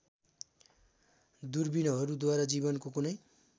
दूरबीनहरूद्वारा जीवनको कुनै